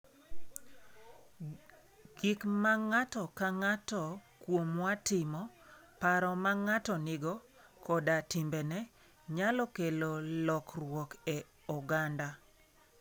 Gik ma ng'ato ka ng'ato kuomwa timo, paro ma ng'ato nigo, koda timbene, nyalo kelo lokruok e oganda.